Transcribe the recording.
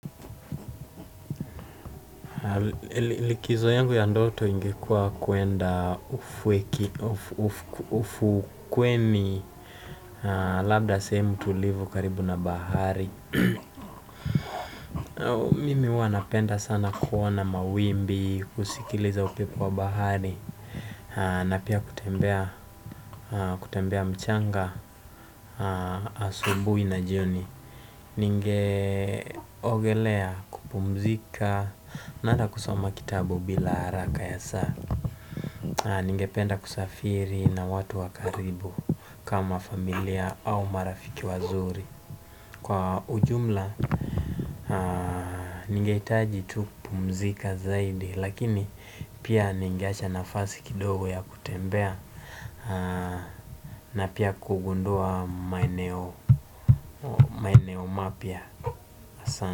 Likizo yangu ya ndoto ingekua kwenda ufukweni labda sehemu tulivu karibu na bahari mimi huwa napenda sana kuona mawimbi, kusikiliza upepo wa bahari na pia kutembea mchanga, asubuhi na jioni. Ningeogelea kupumzika na ata kusoma kitabu bila haraka ya saa ningependa kusafiri na watu wa karibu kama familia au marafiki wazuri kwa ujumla ningehitaji tu kupumzika zaidi lakini ningeacha nafasi kidogo ya kutembea na pia kugundua maeneo mapya hasa.